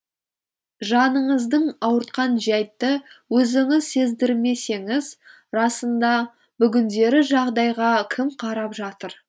жаныңызды ауыртқан жәйтті өзіңіз сездірмесеңіз расында бүгіндері жағдайға кім қарап жатыр